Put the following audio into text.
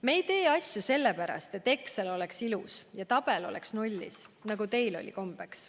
Me ei tee asju sellepärast, et Excel oleks ilus ja tabel oleks nullis, nagu teil oli kombeks.